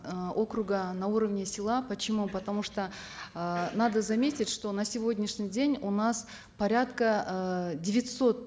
э округа на уровне села почему потому что э надо заметить что на сегодняшний день у нас порядка э девятисот